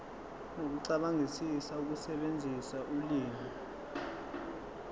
nokucabangisisa ukusebenzisa ulimi